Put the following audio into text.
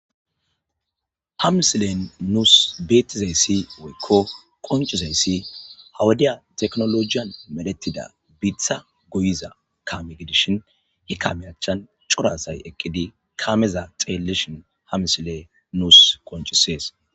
ha misilen nuus beetizayssi woykko qoncizayssi hawadiya teknolojiyan meletida biitha guyiza kame gidishin hi kamey achan curasay eqqidi kaameza xeelleshin hamisile nuus qoncisees